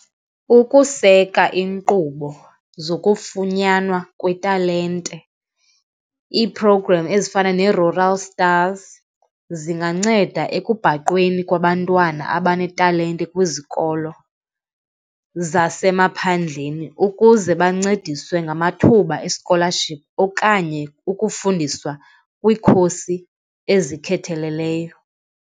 Ukuseka iinkqubo zokufunyanwa kwetalente, ii-programs ezifana neeRural Stars zinganceda ekubhaqweni kwabantwana abanetalente talente kwizikolo zasemaphandleni ukuze bancediswe ngamathuba eskolaship okanye ukufundiswa kwiikhosi ezikhetheleleyo.